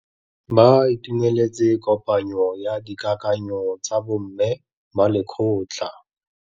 Ba itumeletse kôpanyo ya dikakanyô tsa bo mme ba lekgotla.